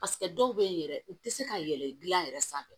dɔw bɛ yen yɛrɛ u tɛ se ka yɛlɛ dilan yɛrɛ sanfɛ